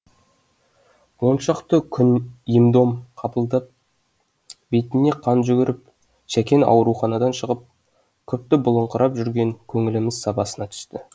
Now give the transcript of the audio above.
он шақты күн ем дом қабылдап бетіне қан жүгіріп шәкең ауруханадан шығып күпті болыңқырап жүрген көңіліміз сабасына түсті